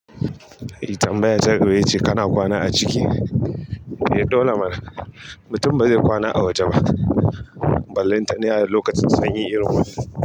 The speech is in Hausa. Me tambaya ta gaba yace kana kwana a ciki? Eh dole mana. Mutum ba zai kwana a waje ba, ballai ta ne a lokacin sanyi irin wannan.